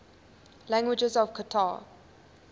languages of qatar